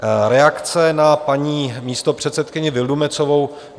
Reakce na paní místopředsedkyni Vildumetzovou.